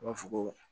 U b'a fɔ ko